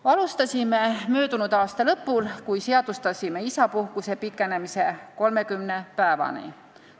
Alustasime möödunud aasta lõpul, kui seadustasime isapuhkuse pikenemise 30 päevani.